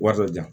Wari dɔ jan